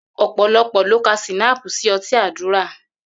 Ò̩pò̩lo̩pò̩ ló ka S̩ínáàpù sí o̩tí àdúrà